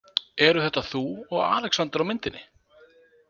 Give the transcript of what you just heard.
Eru þetta þú og Alexander á myndinni?